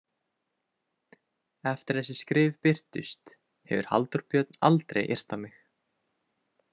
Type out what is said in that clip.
Eftir að þessi skrif birtust hefur Halldór Björn aldrei yrt á mig.